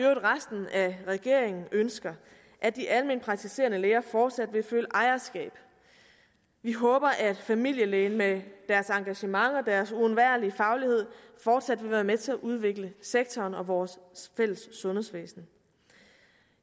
resten af regeringen ønsker at de almenpraktiserende læger fortsat vil føle ejerskab vi håber at familielægerne med deres engagement og deres uundværlige faglighed fortsat vil være med til at udvikle sektoren og vores fælles sundhedsvæsen